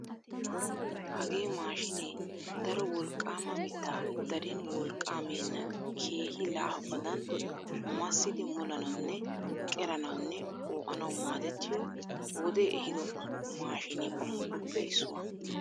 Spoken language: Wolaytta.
Hagee maashshinee daro wolqqaama mittaa darin wolqqaa meennan keehi laafabadan maasidi molanawunne qeeranawunne qoo'anawu maadettiyoo wodee ehiido maashine qommotuppe issuwaa.